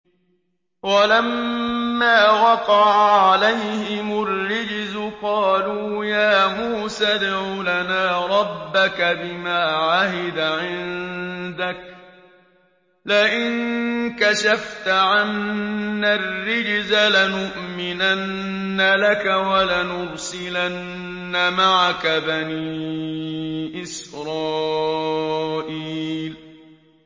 وَلَمَّا وَقَعَ عَلَيْهِمُ الرِّجْزُ قَالُوا يَا مُوسَى ادْعُ لَنَا رَبَّكَ بِمَا عَهِدَ عِندَكَ ۖ لَئِن كَشَفْتَ عَنَّا الرِّجْزَ لَنُؤْمِنَنَّ لَكَ وَلَنُرْسِلَنَّ مَعَكَ بَنِي إِسْرَائِيلَ